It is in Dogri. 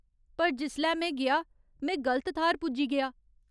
पर जिसलै में गेआ, में गलत थाह्‌र पुज्जी गेआ।